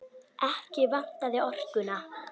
Ekki vantaði orkuna.